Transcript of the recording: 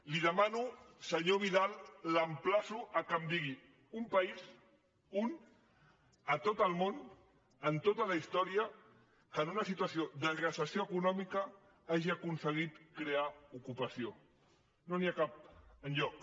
li demano senyor vidal l’empla·ço que em digui un país un a tot el món en tota la història que en una situació de recessió econòmica hagi aconseguit crear ocupació no n’hi ha cap enlloc